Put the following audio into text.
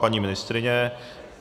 Paní ministryně?